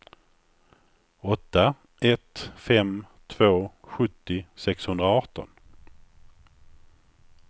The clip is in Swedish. åtta ett fem två sjuttio sexhundraarton